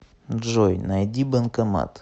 джой найди банкомат